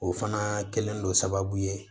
O fana kɛlen don sababu ye